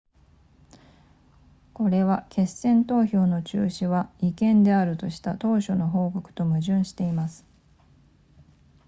これは決選投票の中止は違憲であるとした当初の報告と矛盾しています